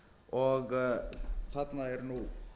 og þarna er nú